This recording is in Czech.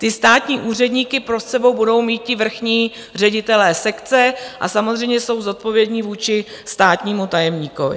Ty státní úředníky pod sebou budou mít ti vrchní ředitelé sekce a samozřejmě jsou zodpovědní vůči státnímu tajemníkovi.